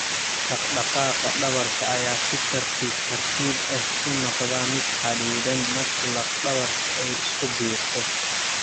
Dhaqdhaqaaqa dhabarka ayaa si tartiib tartiib ah u noqda mid xaddidan marka laf dhabarta ay isku biirto.